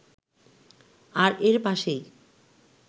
আর এর পাশেই